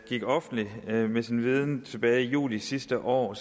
i offentligheden med sin viden tilbage i juli sidste år